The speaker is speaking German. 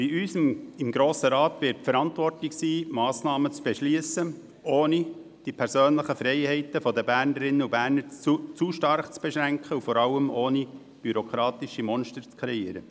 Bei uns im Grossen Rat wird die Verantwortung liegen, Massnahmen zu beschliessen, ohne die persönlichen Freiheiten der Bernerinnen und Berner zu stark zu beschränken, und vor allem ohne bürokratische Monster zu kreieren.